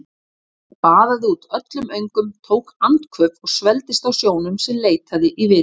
Hann baðaði út öllum öngum, tók andköf og svelgdist á sjónum sem leitaði í vitin.